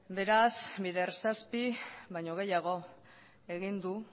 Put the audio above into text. beraz bider zazpi baino gehiago egin du